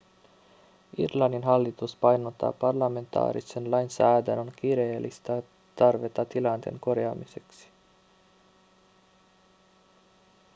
irlannin hallitus painottaa parlamentaarisen lainsäädännön kiireellistä tarvetta tilanteen korjaamiseksi